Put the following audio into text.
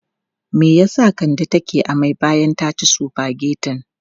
Me ya sa Kande take amai bayan ta ci sufagetin?